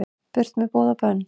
Burt með boð og bönn